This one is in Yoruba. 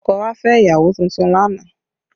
Ọkọ̀ wa fẹ́ ìyàwó tuntun lánàá